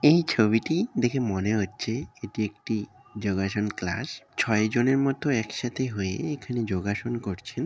এই ছবিটি দেখে মনে হচ্ছে এটি একটি যোগআসন্ ক্লাস ছয় জনের মতো এক সাথে হয়ে এখানে যোগআসন্ করছে।